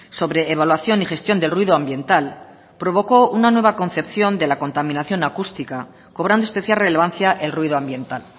sobre evaluación y gestión del ruido ambiental provocó una nueva concepción de la contaminación acústica cobrando especial relevancia el ruido ambiental